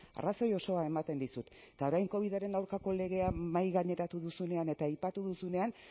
arrazoi osoa ematen dizut eta orain covidaren aurkako legea mahai gaineratu duzunean eta aipatu duzunean